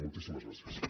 moltíssimes gràcies